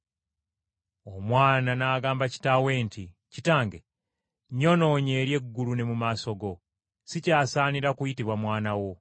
Omwana n’agamba kitaawe nti, ‘Kitange, nnyonoonye eri eggulu ne mu maaso go. Sikyasaanira kuyitibwa mwana wo.’